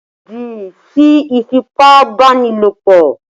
Lòdì sí ìfipá-báni-lòpọ̀!